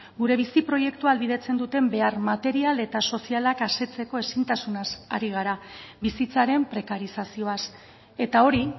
gure bizi proiektua ahalbidetzen duten behar material eta sozialak asetzeko ezintasunaz ari gara bizitzaren prekarizazioaz eta hori